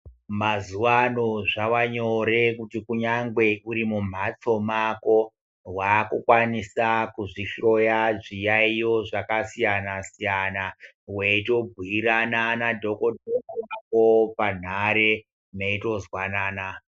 Mazuva ano zvava nyore kuti kunyangwe uri mumbatso mwako wava kukwanisa kuzvihloya zviyayiyo zvakasiyana siyana weitobhuyirana madhokodheya wako parunhare meito zwanana.